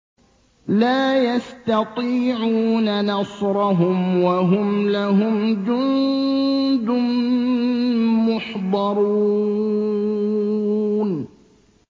لَا يَسْتَطِيعُونَ نَصْرَهُمْ وَهُمْ لَهُمْ جُندٌ مُّحْضَرُونَ